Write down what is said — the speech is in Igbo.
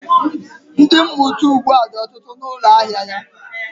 Ndi, mmụta ugbu a dị ọtụtụ na ụlọ ahịa ya